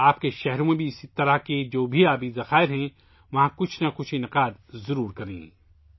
آپ کے شہروں میں بھی اس طرح کے جو بھی آبی ذخائر ہیں، وہاں کچھ نہ کچھ پروگرام ضرور کریں